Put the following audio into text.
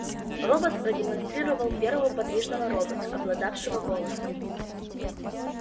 роботс продемонстрировал первого подвижного робота обладавшего голосом